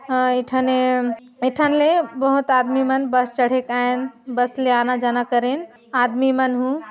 अ ए ठने इ ठन ले बहोत आदमी मन बस चढ़े करेंन बस ले आना जाना करेंन आदमी मन हु--